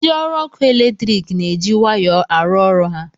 Ndị ọrụ ọkụ eletrik na-eji waya arụ ọrụ ha